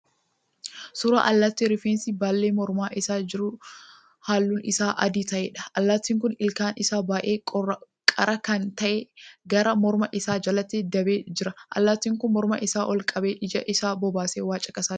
Suuraa allaattii rifeensi baallee morma isaa irra jiru halluun isaa adii ta'eedha. Allaattiin kun ilkaan isaa baay'ee qara kan ta'e gara morma isaa jalatti dabee jira. Allaattiin kun morma isaa ol qabee ija isa bobaasee waa caqasaa jira.